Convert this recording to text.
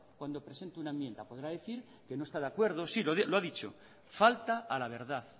cuando presentó una enmienda podrá decir que no está de acuerdo sí lo ha dicho falta a la verdad